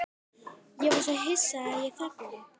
Ég var svo hissa að ég þagnaði.